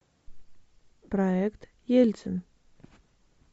проект ельцин